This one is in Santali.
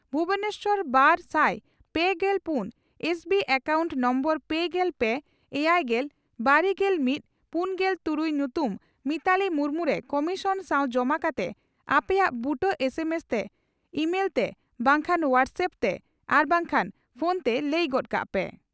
ᱵᱷᱩᱵᱚᱱᱮᱥᱚᱨ ᱵᱟᱨᱥᱟᱭ ᱯᱮᱜᱮᱞ ᱯᱩᱱ ᱮᱥ ᱵᱤ ᱮᱠᱟᱣᱩᱱᱴ ᱱᱳᱢᱵᱚᱨ ᱯᱮᱜᱮᱞ ᱯᱮ ,ᱮᱭᱟᱭᱜᱮᱞ ,ᱵᱟᱨᱜᱮᱞ ᱢᱤᱛ ,ᱯᱩᱱᱜᱮᱞ ᱛᱩᱨᱩᱭ ᱧᱩᱛᱩᱢ ᱢᱤᱛᱟᱞᱤ ᱢᱩᱨᱢᱩ ) ᱨᱮ ᱠᱚᱢᱤᱥᱚᱱ ᱥᱟᱣ ᱡᱚᱢᱟ ᱠᱟᱛᱮ ᱟᱯᱮᱭᱟᱜ ᱵᱩᱴᱟᱹ ᱮᱥ ᱮᱢ ᱮᱥ ᱛᱮ ,ᱤᱢᱟᱹᱞ ᱛᱮ ,ᱵᱟᱝᱠᱷᱟᱱ ᱦᱚᱣᱟᱴᱥ ᱮᱯᱯ ᱛᱮ ᱟᱨ ᱵᱟᱝᱠᱷᱟᱱ ᱯᱷᱚᱱᱛᱮ ᱞᱟᱹᱭ ᱜᱚᱫ ᱠᱟᱜ ᱯᱮ ᱾